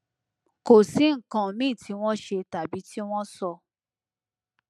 kò sí nǹkan míì tí tí wọn ṣe tàbí tí wọn sọ